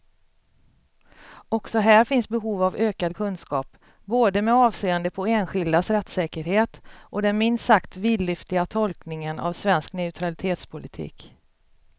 Också här finns behov av ökad kunskap, både med avseende på enskildas rättssäkerhet och den minst sagt vidlyftiga tolkningen av svensk neutralitetspolitik.